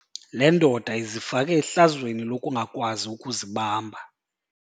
Le ndoda izifake ehlazweni lokungakwazi ukuzibamba.